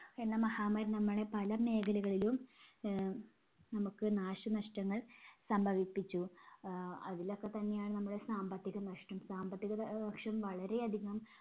എന്ന മഹാമാരി നമ്മളെ പല മേഖലകളിലും ആഹ് നമുക്ക് നാശനഷ്‌ടങ്ങൾ സംഭവിപ്പിച്ചു. ആഹ് അതിലൊക്കെത്തന്നെയാണ് നമ്മുടെ സാമ്പത്തിക നഷ്ടം. സാമ്പത്തികത ആഹ് വർഷം വളരെ അധികം